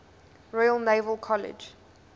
royal naval college